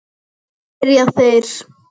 spyrja þeir.